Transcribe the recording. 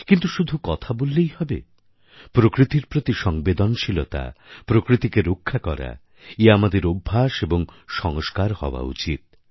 কিন্তু শুধু কথা বললেই হবে প্রকৃতির প্রতি সংবেদনশীলতা প্রকৃতিকে রক্ষা করা এ আমাদের অভ্যাস এবং সংস্কার হওয়া উচিত